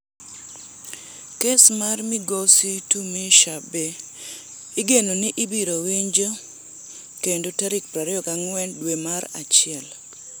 Kes mar migosi Tumushabe igeno ni ibiro winjo kendo tarik 24 dwe mar achiel.